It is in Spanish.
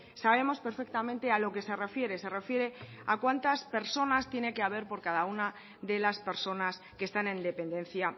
sabemos perfectamente a lo que se refiere se refiere a cuántas personas tiene que haber por cada una de las personas que están en dependencia